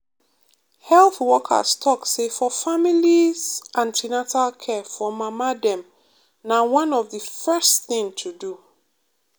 health workers talk say for families an ten atal care for mama dem na one of the first thing to do.